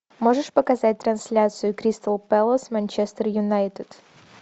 можешь показать трансляцию кристал пэлас манчестер юнайтед